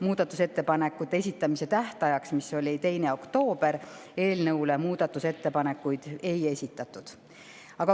Muudatusettepanekute esitamise tähtajaks, mis oli 2. oktoober, eelnõule muudatusettepanekuid ei esitatud.